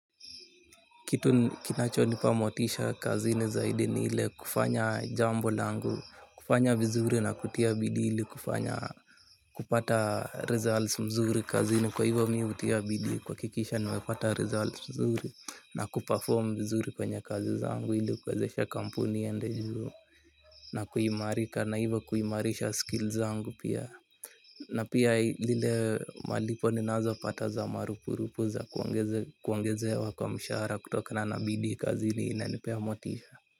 Kitu kinachonipa motisha kazini zaidi ni ile kufanya jambo langu kufanya vizuri na kutia bidii ili kufanya kupata results mzuri kazini kwa hivyo mi hutia bidii kuhakikisha nimepata results mzuri na kuperform vizuri kwenye kazi zangu hili kuwezesha kampuni iende juu. Na kuimarika na hivyo kuimarisha skills zangu pia. Na pia lile malipo ninazo pata za marupurupu za kuongezewa kwa mshahara kutokana na bidii kazini inanipea motisha.